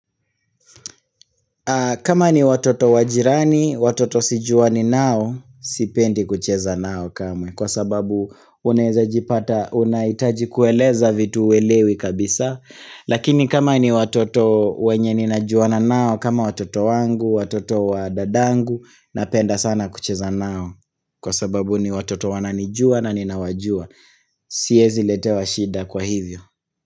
Kama ni watoto wajirani, watoto sijuani nao, sipendi kucheza nao kamwe, kwa sababu unaezajipata unahitaji kueleza vitu huelewi kabisa, lakini kama ni watoto wenye ninajuana nao, kama watoto wangu, watoto wadadangu, napenda sana kucheza nao, kwa sababu ni watoto wananijua na ninawajua, siezi letewa shida kwa hivyo.